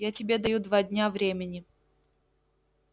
я тебе даю два дня времени